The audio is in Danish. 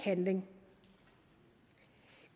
handling